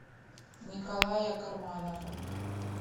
николая карманова